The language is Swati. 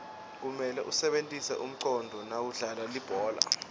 kumele usebentise umconduo nawudlala libhola